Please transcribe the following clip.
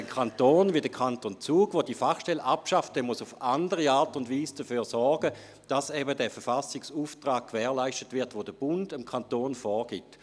Ein Kanton wie der Kanton Zug, der diese Fachstelle abschafft, muss auf andere Art und Weise dafür sorgen, dass der Verfassungsauftrag erfüllt wird, den der Bund dem Kanton vorgibt.